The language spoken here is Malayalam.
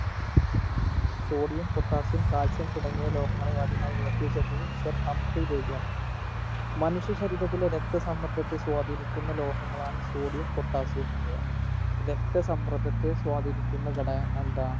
sodium potassium calcium തുടങ്ങിയ ലോഹങ്ങളെ ആദ്യമായി വേർതിരിച്ചെടുത്തത് sir ഹംഫ്രി ഡേവിയാണ് മനുഷ്യ ശരീരത്തിലെ രക്തസമ്മർദത്തെ സ്വാധിനിക്കുന്ന ലോഹങ്ങളാണ് sodium potassium എന്നിവ രക്തസമ്മർദത്തെ സ്വാധിനിക്കുന്ന ഘടകം അഹ് എന്താ